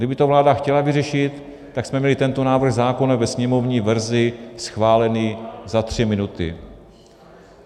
Kdyby to vláda chtěla vyřešit, tak jsme měli tento návrh zákona ve sněmovní verzi schválen za tři minuty.